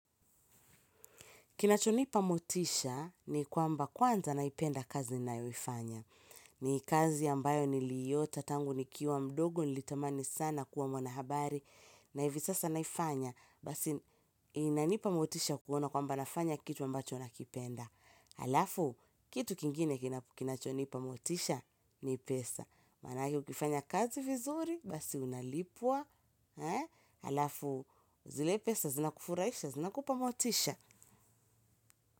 Kinachonipa motisha ni kwamba kwanza naipenda kazi nayoifanya. Ni kazi ambayo niliiota tangu nikiwa mdogo nilitamani sana kuwa mwanahabari. Na hivi sasa naifanya basi inanipa motisha kuona kwamba nafanya kitu ambacho nakipenda. Alafu, kitu kingine kinachonipa motisha ni pesa. Maanake ukifanya kazi vizuri basi unalipwa. Alafu, zile pesa zinakufurahisha, zinakupa motisha.